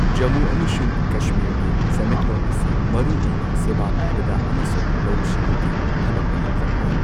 ꯖꯝꯃꯨ ꯑꯃꯁꯨꯡ ꯀꯁꯃꯤꯔꯒꯤ ꯁꯦꯟꯃꯤꯠꯂꯣꯟ ꯑꯁꯤ ꯃꯔꯨ ꯑꯣꯏꯅ ꯁꯦꯚꯥ ꯄꯤꯕꯗ ꯑꯃꯁꯨꯡ ꯂꯧꯎ ꯁꯤꯡꯎꯒꯤ ꯊꯕꯛꯇ ꯌꯨꯝꯐꯝ ꯑꯣꯏ꯫